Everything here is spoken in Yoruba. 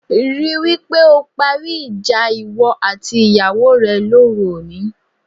Rí i wí pé o parí ìjà ìwọ àti ìyàwó rẹ lóru òní